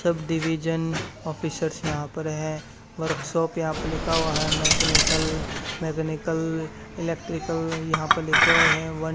सब division officers यहां पर है वर्कशॉप यहां पे लिखा हुआ है मैकेनिकल मैकेनिकल इलेक्ट्रिकल यहां पर लिखे हुए है वन --